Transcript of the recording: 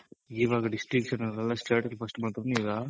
ಈವಾಗ Distinction ಅಲ್ಲಲ್ಲ state ಗೆ first ಬಂದ್ರುನು ಈಗ